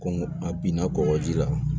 Ko a binna kɔgɔji la